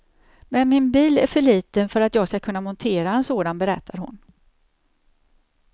Men min bil är för liten för att jag skall kunna montera en sådan, berättar hon.